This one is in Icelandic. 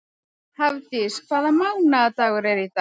Hafdís, hvaða mánaðardagur er í dag?